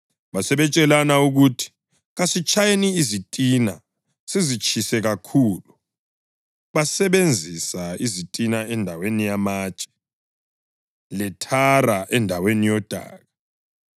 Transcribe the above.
Basebetshelana bathi, “Kasitshayeni izitina sizitshise kakhulu.” Babesebenzisa izitina endaweni yamatshe, lethara endaweni yodaka.